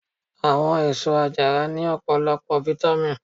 Àwọn èsó àjàrà ní ọpọlọpọ fitamì.